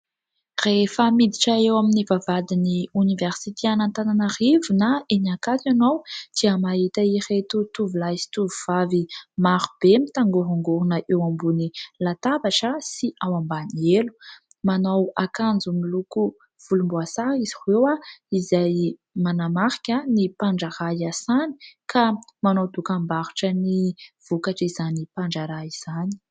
Rehefa miditra eo amin'ny vavahadin'ny oniversite an'Antananarivo na eny Ankatso ianao dia mahita ireto tovolahy sy tovovavy marobe mitangorongorona eo ambony latabatra sy ao ambany elo. Manao akanjo miloko volomboasary izy ireo, izay manamarika ny mpandraharaha iasany ka manao dokambarotra ny vokatr'izany mpandraharaha izany.